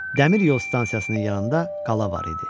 Dəmir yol stansiyasının yanında qala var idi.